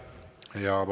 Aitäh!